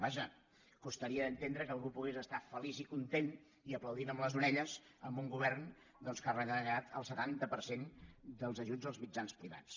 vaja costaria d’entendre que algú pogués estar feliç i content i aplaudint amb les orelles amb un go·vern que ha retallat el setanta per cent dels ajuts als mitjans privats